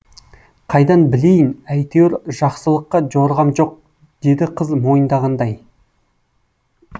қайдан білейін әйтеуір жақсылыққа жорығам жоқ деді қыз мойындағандай